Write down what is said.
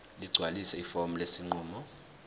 ligcwalise ifomu lesinqumo